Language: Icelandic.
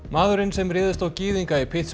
maðurinn sem réðst á gyðinga í